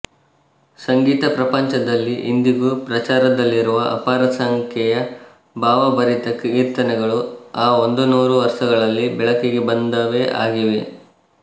ಸಂಗೀತ ಪ್ರಪಂಚದಲ್ಲಿ ಇಂದಿಗೂ ಪ್ರಚಾರದಲ್ಲಿರುವ ಅಪಾರ ಸಂಖ್ಯೆಯ ಭಾವಭರಿತ ಕೀರ್ತನೆಗಳು ಆ ಒಂದುನೂರು ವರ್ಷಗಳಲ್ಲಿ ಬೆಳಕಿಗೆ ಬಂದವೇ ಆಗಿವೆ